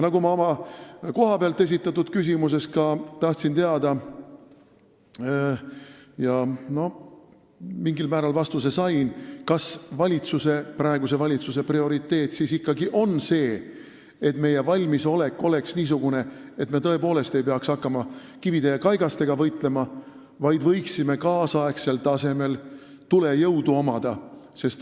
Oma kohapealt esitatud küsimusest tahtsin teada – ja mingil määral vastuse sain –, kas praeguse valitsuse prioriteet ikkagi on see, et meie valmisolek oleks niisugune, et me tõepoolest ei peaks hakkama kivide ja kaigastega võitlema, vaid võiksime omada tänapäevasel tasemel tulejõudu.